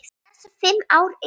Þessi fimm ár eru